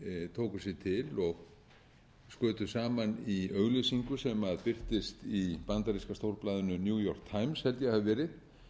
tóku sig til og skutu saman í auglýsingu sem virtist í bandaríska stórblaðinu new york times held ég að hafi verið þar sem